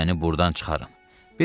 İndi məni burdan çıxarın.